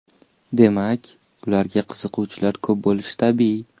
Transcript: Demak, ularga qiziquvchilar ko‘p bo‘lishi tabiiy.